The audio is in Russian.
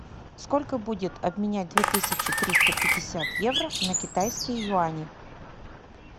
сколько будет обменять две тысячи триста пятьдесят евро на китайские юани